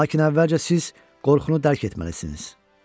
Lakin əvvəlcə siz qorxunu dərk etməlisiniz.